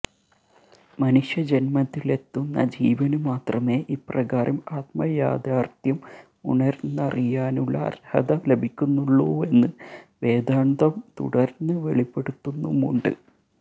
മനുഷ്യജന്മത്തിലെത്തുന്ന ജീവനു മാത്രമേ ഇപ്രകാരം ആത്മയാഥാര്ത്ഥ്യം ഉണര്ന്നറിയാനുള്ള അര്ഹത ലഭിക്കുന്നുള്ളൂവെന്ന് വേദാന്തം തുടര്ന്ന് വെളിപ്പെടുത്തുന്നുമുണ്ട്